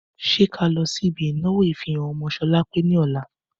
Ṣé ká lọ sí ibi ìnáwó ìfihàn ọmọ sholape ní ọ̀la?